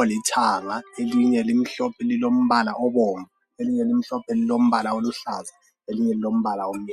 olithanga, elinye limhlophe lilombala obomvu , ilinye limhlophe lilombala oluhlaza, elinye lilombala omnyama.